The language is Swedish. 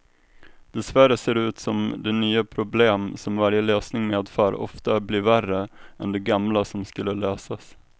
Dessvärre ser det ut som de nya problem som varje lösning medför ofta blir värre än de gamla som skulle lösas.